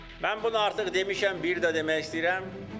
Mən bunu artıq demişəm, bir də demək istəyirəm.